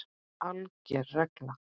ALGER REGLA